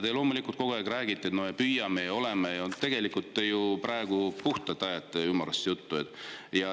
Te loomulikult kogu aeg räägite, et me püüame, aga tegelikult te ju praegu puhtalt ajate ümmargust juttu.